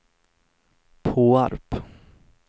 Påarp